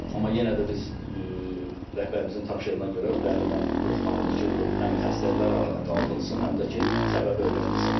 Amma yenə də biz rəhbərimizin tapşırığına görə o dərindən yoxlanılır ki, bu həm xəstəliklər aradan qaldırılsın, həm də ki, səbəbi öyrənilsin.